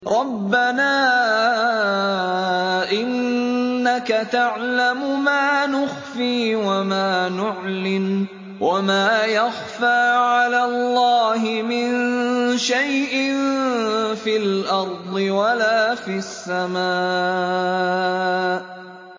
رَبَّنَا إِنَّكَ تَعْلَمُ مَا نُخْفِي وَمَا نُعْلِنُ ۗ وَمَا يَخْفَىٰ عَلَى اللَّهِ مِن شَيْءٍ فِي الْأَرْضِ وَلَا فِي السَّمَاءِ